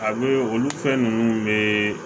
A bɛ olu fɛn ninnu bɛ